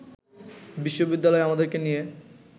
বিশ্ববিদ্যালয় আমাদেরকে নিয়ে